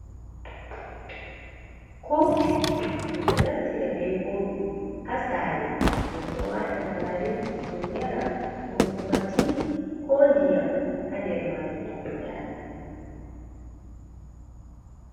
kofi in ɗonaftirabe kofi ha sare min ɗo waata gari min yaara ko kuma tii ko ndiyam ha der maajun min yaara.